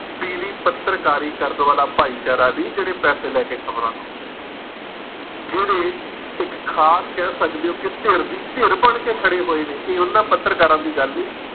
ਪੀਲੀ ਪੱਤਰਕਾਰੀ ਕਰਨ ਵਾਲਾ ਭਾਈਚਾਰਾ ਨੀ ਜਿਹੜੇ ਪੈਸੇ ਲੈ ਕੇ ਖ਼ਬਰਾਂ ਲਾਉਂਦੇ ਨੇ। ਜਿਹੜੇ ਇੱਕ ਖਾਸ ਕਹਿ ਸਕਦੇ ਹੋ ਕਿ ਧਿਰ ਦੀ ਧਿਰ ਬਣ ਕੇ ਖੜੇ ਹੋਏ ਨੇ ਇਹ ਉਹਨਾਂ ਪੱਤਰਕਾਰਾਂ ਦੀ ਗੱਲ ਨਹੀਂ